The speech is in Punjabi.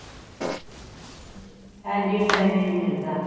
ਇੰਝ ਹੀ time ਹੀ ਨੀ ਮਿਲਦਾ